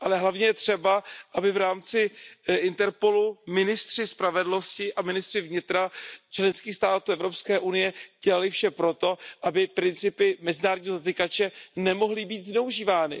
Ale hlavně je třeba, aby v rámci Interpolu ministři spravedlnosti a ministři vnitra členských států Evropské unie dělali vše pro to, aby principy mezinárodního zatykače nemohly být zneužívány.